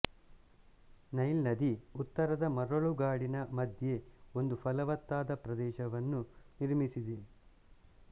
Nile ನದಿ ಉತ್ತರದ ಮರಳುಗಾಡಿನ ಮಧ್ಯೆ ಒಂದು ಫಲವತ್ತಾದ ಪ್ರದೇಶವನ್ನು ನಿರ್ಮಿಸಿದೆ